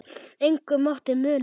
Engu mátti muna.